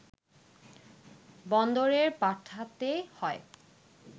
বন্দরে পাঠাতে হয়